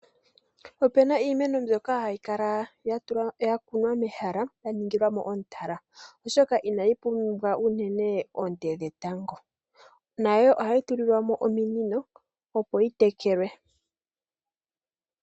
Opuna iimeno mbyoka hayi kala ya kunwa mehala, ya ningilwa mo omutala, oshoka inayi pumbwa unene oonte dhetango. Nayo ohayi tulilwa mo ominino, opo yi tekelwe.